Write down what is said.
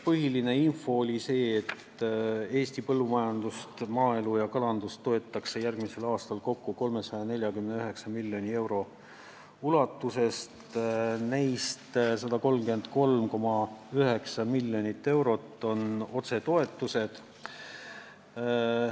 Põhiline info oli see, et Eesti põllumajandust, maaelu ja kalandust toetatakse järgmisel aastal kokku 349 miljoni euroga, millest 133,9 miljonit eurot on otsetoetused.